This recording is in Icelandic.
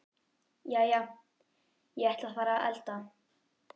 Jæja, ég ætla að fara að elda.